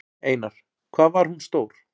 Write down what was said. Einar: Hvað var hún stór?